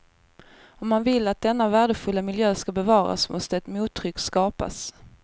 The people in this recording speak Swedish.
Om man vill att denna värdefulla miljö ska bevaras måste ett mottryck skapas.